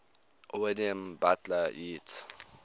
william butler yeats